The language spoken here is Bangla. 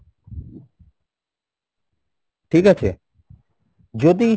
ঠিক আছে? যদি